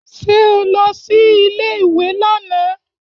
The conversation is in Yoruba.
Ṣé o lọ sí ilé ìwé lánàá?